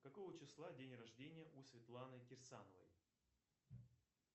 какого числа день рождения у светланы кирсановой